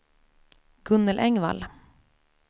Gunnel Engvall